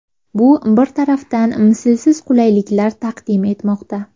Bu bir tarafdan mislsiz qulayliklar taqdim etmoqda.